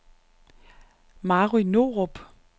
Mary Norup